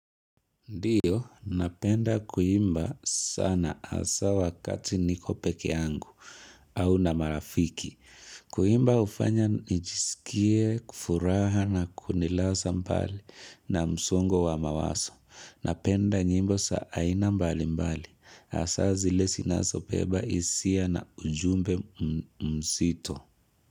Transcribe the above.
Ndiyo, napenda kuimba sana hasaa wakati niko pekee yangu au na marafiki. Kuimba hufanya nijisikie, kufuraha na kunilaza mbali na msongo wa mawazo. Napenda nyimbo za aina mbali mbali. Hasaa zile sinazobeba hisia na ujumbe mzito.